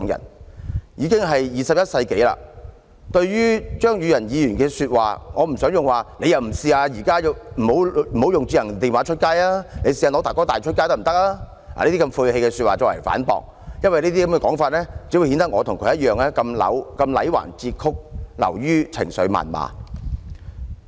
現時已經是21世紀，對於張宇人議員的說話，我不想用"你不如試一試現時不用智能電話，改用'大哥大'電話出街吧"這類晦氣說話來反駁，因為這樣只會顯得我與他同樣的戾橫折曲，流於情緒謾罵。